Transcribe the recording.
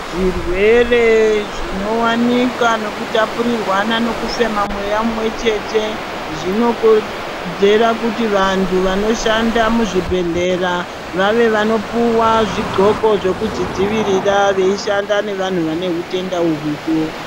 Zvirwere zvinowanika nekutapurirwana nekufema mweya mumwechete zvinokonzera kuti vantu vanoshanda muzvibhehlera vave vanopuwa zviglokwo zvekuzvidzivirira veishanda nevantu vane zvitenda izvozvo.